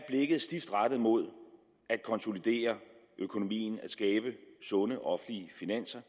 stift rettet mod at konsolidere økonomien at skabe sunde offentlige finanser